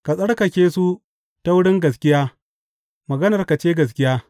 Ka tsarkake su ta wurin gaskiya; maganarka ce gaskiya.